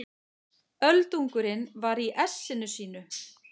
Öldungurinn var í essinu sínu.